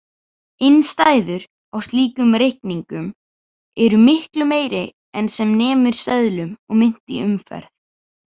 Innstæður á slíkum reikningum eru miklu meiri en sem nemur seðlum og mynt í umferð.